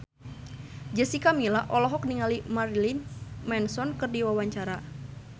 Jessica Milla olohok ningali Marilyn Manson keur diwawancara